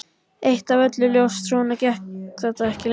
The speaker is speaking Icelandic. Eitt var öllum ljóst: Svona gekk þetta ekki lengur.